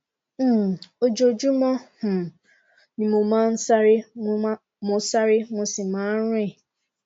um ojoojúmọ um ni mo máa ń sáré mo sáré mo sì máa ń rìn